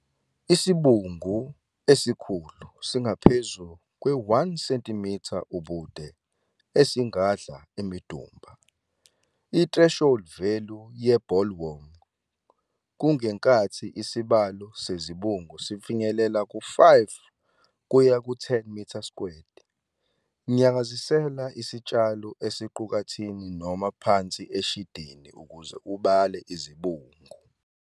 Isibungu esikhulu, singaphezulu kwe-1 cm ubude, esingadla imidumba. I-threshold value ye-bollworm kungenkathi isibalo sezibungu sifinyelela ku-5 kuya ku-10 m². Nyakazisela isitshalo esiqukathini noma phansi eshidini ukuze ubale izibungu.